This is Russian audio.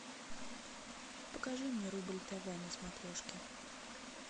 покажи мне рубль тв на смотрешке